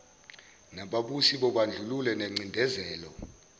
nababusi bobandlululo nengcindezelo